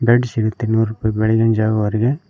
Bed ಸಿಗುತ್ತೆ ಇನ್ನೂರು ರೂಪಾಯಿ ಬೆಳಗಿನ ಜಾವದವರಿಗೆ.